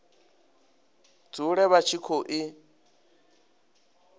dzule vha tshi khou i